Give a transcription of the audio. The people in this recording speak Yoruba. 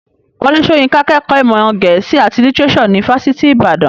Wọlé Soyinka kẹ́kọ̀ọ́ ìmọ̀ gẹ̀ẹ́sì àti lítírésò ní fásitì ìbàdàn.